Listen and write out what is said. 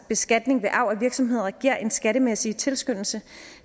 beskatning ved arv af virksomheder giver en skattemæssig tilskyndelse